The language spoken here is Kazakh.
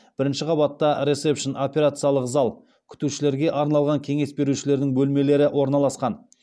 бірінші қабатта ресепшн операциялық зал кеңес берушілердің бөлмелері орналасқан